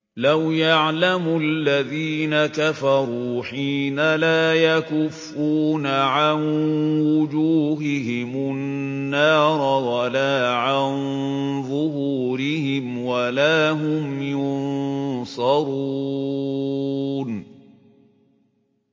لَوْ يَعْلَمُ الَّذِينَ كَفَرُوا حِينَ لَا يَكُفُّونَ عَن وُجُوهِهِمُ النَّارَ وَلَا عَن ظُهُورِهِمْ وَلَا هُمْ يُنصَرُونَ